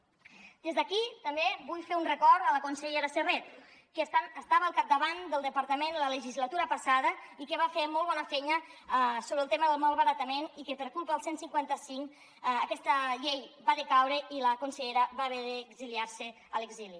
des d’aquí també vull fer un record a la consellera serret que estava al capdavant del departament la legislatura passada i que va fer molt bona feina sobre el tema del malbaratament i que per culpa del cent i cinquanta cinc aquesta llei va decaure i la consellera va haver d’exiliar se a l’exili